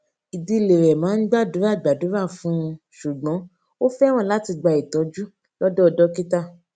ìdílé rè máa ń gbàdúrà gbàdúrà fún un ṣùgbón ó fẹràn láti gba ìtójú lódò dókítà